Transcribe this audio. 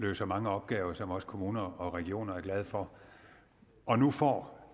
løser mange opgaver og som også kommuner og regioner er glade for og nu får